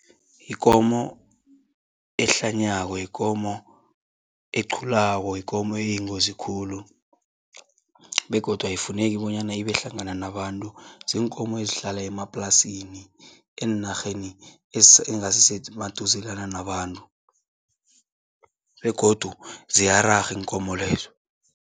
Yikomo ehlanyako, yikomo eqhulako, yikomo eyingozi khulu begodu ayifuneki bonyana ibe hlangana nabantu. Ziinkomo ezihlala emaplasini, eenarheni engasisemaduzelana nabantu begodu ziyararha iinkomo lezo.